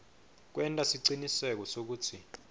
kwenta siciniseko sekutsi